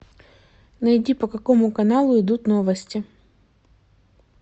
найди по какому каналу идут новости